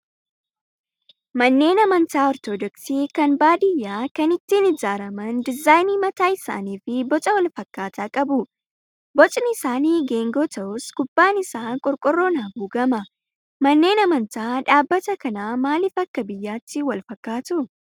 Manneen amantaa ortodoksii kan baadiyyaa kan ittiin ijaaraman diizaayinii mataa isaanii fi boca wal fakkaataa qabu. Bocni isaanii geengoo ta'us, gubbaan isaa qorqoorroon haguugama. Manneen amantaa dhaabbata kanaa maaliif akka biyyaatti wal fakkaatuu?